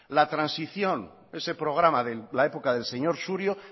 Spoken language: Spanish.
la transición ese programa de la época del señor surio